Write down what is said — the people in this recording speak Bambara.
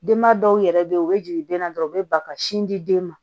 Denba dɔw yɛrɛ bɛ yen u bɛ jigin den na dɔrɔn u bɛ ba ka sin di den ma